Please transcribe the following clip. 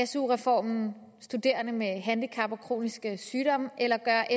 su reformen studerende med handicap eller kronisk sygdom eller gør